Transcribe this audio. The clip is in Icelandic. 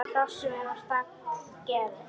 Hrossum er á stall gefið.